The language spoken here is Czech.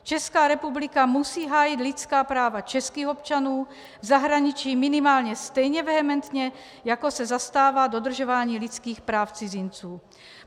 Česká republika musí hájit lidská práva českých občanů v zahraničí minimálně stejně vehementně, jako se zastává dodržování lidských práv cizinců.